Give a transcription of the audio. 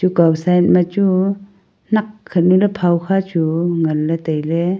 gau side ma chu nakk khanu na phai kha chu ngan le taile.